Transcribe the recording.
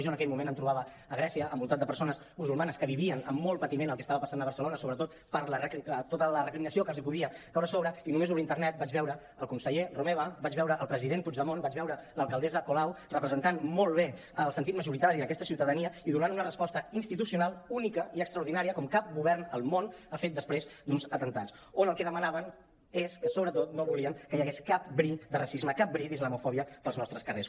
jo en aquell moment em trobava a grècia envoltat de persones musulmanes que vivien amb molt patiment el que estava passant a barcelona sobretot per tota la recriminació que els podia caure a sobre i només obrir internet vaig veure el conseller romeva vaig veure el president puigdemont vaig veure l’alcaldessa colau representant molt bé el sentir majoritari d’aquesta ciutadania i donant una resposta institucional única i extraordinària com cap govern al món ha fet després d’uns atemptats on el que demanaven és que sobretot no volien que hi hagués cap bri de racisme cap bri d’islamofòbia pels nostres carrers